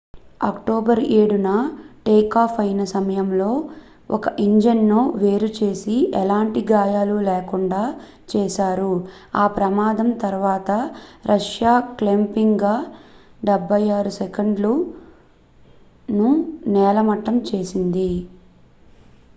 October 7న takeoff అయిన సమయంలో ఒక ఇంజిన్ ను వేరు చేసి ఎలాంటి గాయాలు లేకుండా చేశారు ఆ ప్రమాదం తర్వాత రష్యా క్లుప్తంగా il-76s ను నేలమట్టం చేసింది